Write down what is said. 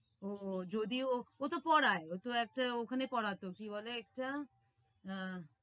ও ও যদি ও ওতো পড়ায় ওতো একটা ওখানে পড়াতো কি বলে একটা? আহ